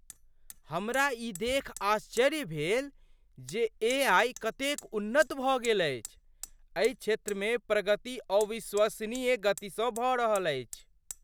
हमरा ई देखि आश्चर्य भेल जे एआई कतेक उन्नत भऽ गेल अछि। एहि क्षेत्रमे प्रगति अविश्वसनीय गतिसँ भऽ रहल अछि।